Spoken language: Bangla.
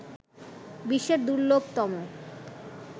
বিশ্বের দুর্লভতম